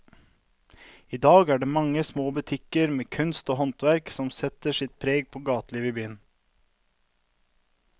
I dag er det de mange små butikkene med kunst og håndverk som setter sitt preg på gatelivet i byen.